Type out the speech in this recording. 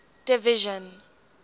division